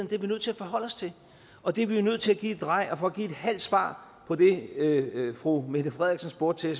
det er vi nødt til at forholde os til og det er vi nødt til at give et drej for at give et halvt svar på det fru mette frederiksen spurgte